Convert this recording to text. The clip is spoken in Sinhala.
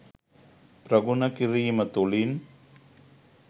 ප්‍රගුණ කිරීම තුළින්